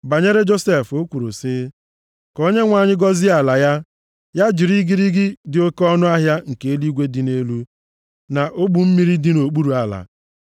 Banyere Josef o kwuru sị, “Ka Onyenwe anyị gọzie ala ya, ya jiri igirigi dị oke ọnụahịa nke eluigwe dị nʼelu, na ogbu mmiri dị nʼokpuru ala,